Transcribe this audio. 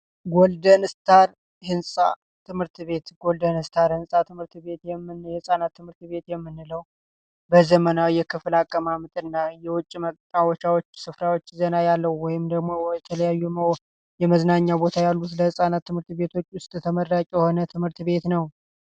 ጎልደን ስታር ትምህርት ቤት ህንፃ፦ ጎልደን ስታር የህፃናት ትምህርት ቤት የምንለው በዘመናዊ የክፍል አቀመጥና በውጭ የመጫወቻ ስፍራዎች ዘና ያሉ ወይም ደግሞ የተለያዩ የመዝናኛ ቦታዎች ያሉት ለህፃናት ትምህርት ቤቶች ውስጥ ተመራጭ የሆነ ትምህርት ቤት ነው።